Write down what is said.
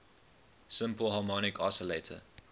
simple harmonic oscillator